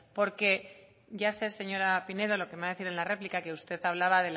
porque ya sé señora pinedo lo que me va a decir en la réplica que usted hablaba